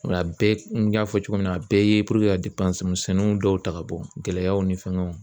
Nka a bɛɛ n y'a fɔ cogo min na a bɛɛ ye puruke ka misɛnninw dɔw ta ka bɔ gɛlɛyaw ni fɛngɛw